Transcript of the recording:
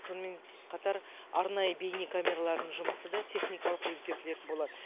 сонымен қатар арнайы бейнекамералардың жұмысы да техникалық өзгертілетін болады